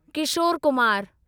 Kishore Kumar